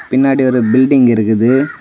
பின்னாடி ஒரு பில்டிங் இருக்குது.